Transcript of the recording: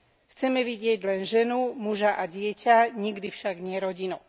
Chceme vidieť len ženu, muža a dieťa, nikdy však nie rodinu.